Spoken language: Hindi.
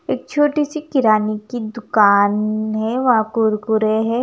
एक छोटी सी किराने की दुकान है वहा कुरकुरे है।